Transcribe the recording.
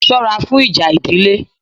Sọ́ra fún ìjà ìdílé!